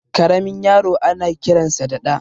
Karamin yaro ana kiransa da Ɗa